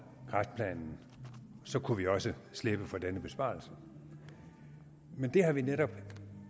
kræftplanen så kunne vi også slippe for denne besparelse men det har vi netop